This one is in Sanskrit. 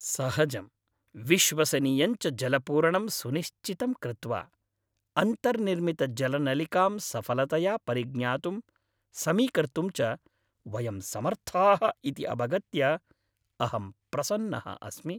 सहजं, विश्वसनीयं च जलपूरणं सुनिश्चितं कृत्वा, अन्तर्निर्मितजलनलिकां सफलतया परिज्ञातुं, समीकर्तुं च वयं समर्थाः इति अवगत्य अहं प्रसन्नः अस्मि।